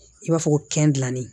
I b'a fɔ ko dilannen